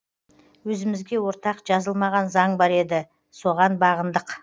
өзімізге ортақ жазылмаған заң бар еді соған бағындық